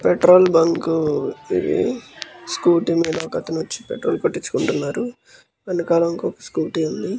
Petrol bunk ఇది. Scooty మీద ఒక అతను వచ్చి పెట్రోల్ కొట్టించుకుంటున్నారు. వెనుకల ఒక స్కూటీ ఉంది.